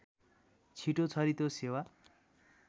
छिटो छरितो सेवा